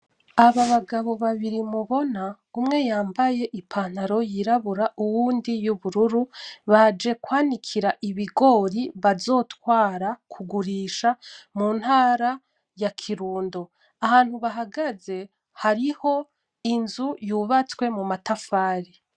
Aba bagabo babiri mubona umwe yambaye ipantaro yirambura uyundi yumbururu baje kwanikira ibigori bazotwara kugurisha muntara ya Kirundo ahantu bahagaze hariho inzu yubwastwe mu matafari.